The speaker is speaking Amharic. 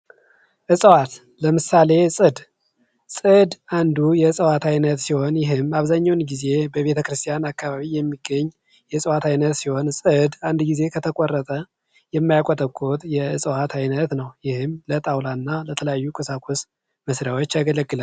የባህር ዛፍ ስሮች ወደ ውስጥ ጠልቀው በመግባታቸው በአፈር ውስጥ ያለውን ውሃ በመምጠጥ በድርቅ ወቅትም እንኳ በአንፃራዊነት የመቆየት ችሎታ አላቸው።